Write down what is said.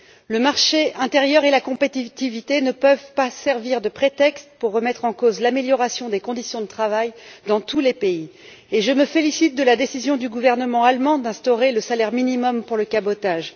Le marché intérieur et la compétitivité ne peuvent servir de prétexte pour remettre en cause l'amélioration des conditions de travail dans tous les pays et je me félicite de la décision du gouvernement allemand d'instaurer un salaire minimum pour le cabotage.